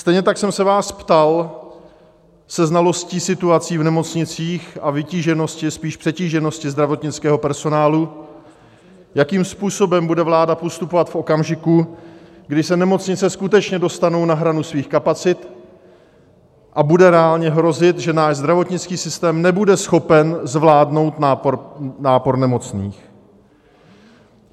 Stejně tak jsem se vás ptal se znalostí situace v nemocnicích a vytíženosti, spíš přetíženosti zdravotnického personálu, jakým způsobem bude vláda postupovat v okamžiku, kdy se nemocnice skutečně dostanou na hranu svých kapacit a bude reálně hrozit, že náš zdravotnický systém nebude schopen zvládnout nápor nemocných.